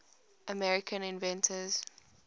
american inventors